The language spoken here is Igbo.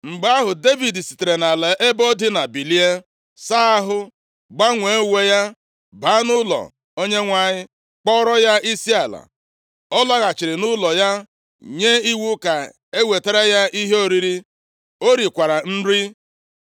Mgbe ahụ, Devid sitere nʼala ebe o dina, bilie, saa ahụ, gbanwee uwe ya, baa nʼụlọ Onyenwe anyị, kpọọrọ ya isiala. Ọ lọghachiri nʼụlọ ya nye iwu ka e wetara ya ihe oriri. O rikwara nri.